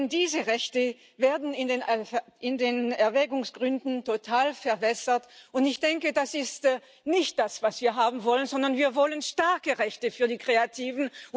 Denn diese Rechte werden in den Erwägungsgründen total verwässert, und ich denke, das ist nicht das, was wir haben wollen, sondern wir wollen starke Rechte für die Kreativen.